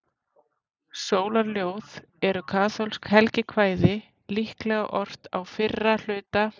Sólarljóð eru kaþólskt helgikvæði, líklega ort á fyrra hluta